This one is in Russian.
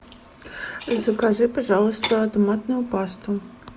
закажи пожалуйста томатную пасту